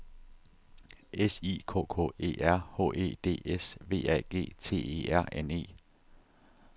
S I K K E R H E D S V A G T E R N E